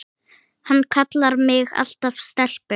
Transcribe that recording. Hann kallaði mig alltaf stelpu.